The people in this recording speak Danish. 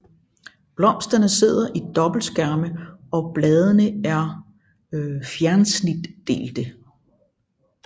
Blomsterne sidder i dobbeltskærme og bladene er fjersnitdelte